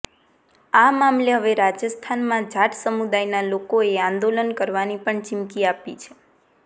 આ મામલે હવે રાજસ્થાનમાં જાટ સમુદાયના લોકોએ આંદોલન કરવાની પણ ચિમકી આપી છે